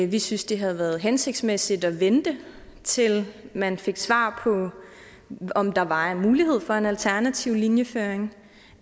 vi synes det havde været hensigtsmæssigt at vente til man fik svar på om der var en mulighed for en alternativ linjeføring